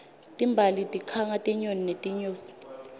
timbali tikhanga tinyoni netinyosi